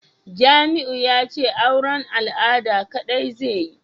Jamiu yace auran al'ada kadai zai iya